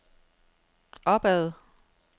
opad